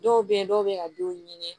Dɔw bɛ yen dɔw bɛ ka denw ɲini